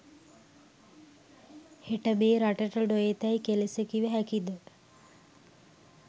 හෙට මේ රටට නොඑතැයි කෙලෙස කිව හැකිද?